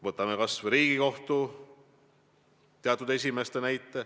Toon näiteks kas või Riigikohtu teatud esimehed.